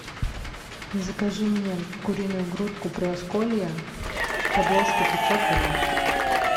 закажи мне куриную грудку приосколье подложку пятьсот грамм